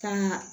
Kaa